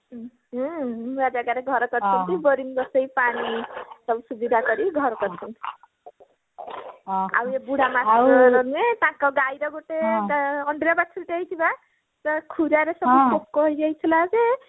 ହୁଁ ନୂଆ ଜାଗାରେ ଘର କରିଛନ୍ତି boring ବସେଇ ପାଣି ସବୁ ସୁବିଧା କରି ଘର କରିଛନ୍ତି ଆଉ ଏଇ ବୁଢା master ରହିବେ ତାଙ୍କ ଗାଈର ଗୋଟେ ଅଣ୍ଡିରା ବାଛୁରିଟା ହେଇଛି ବା ସେ ଖୁରାରେ ସବୁ ପୋକ ହେଇଯାଇଥିଲା ଯେ